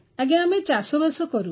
ଆଜ୍ଞା ଆମେ ଚାଷବାସ କରୁ